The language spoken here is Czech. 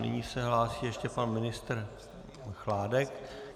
Nyní se hlásí ještě pan ministr Chládek.